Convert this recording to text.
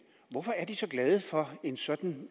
hvorfor er de så glade for en sådan